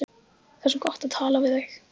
Það er svo gott að tala við þig.